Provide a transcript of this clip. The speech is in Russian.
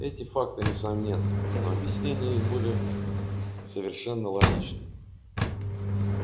эти факты несомненны но объяснение их были совершенно логичными